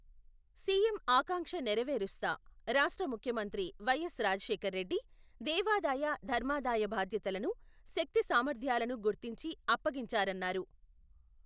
CM ఆకాంక్ష నెరవేరుస్తా, రాష్ట్ర ముఖ్యమంత్రి వై.ఎస్.రాజశేఖరరెడ్డి, దేవాదాయ ధర్మాదాయ బాధ్యతలను, శక్తి సామర్థ్యాలను గుర్తించి అప్పగించారన్నారు.